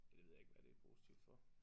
Det ved jeg ikke hvad det positivt for